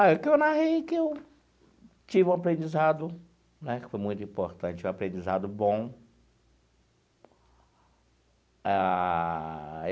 Ah, o que eu narrei é que eu tive um aprendizado, né, que foi muito importante, um aprendizado bom ah.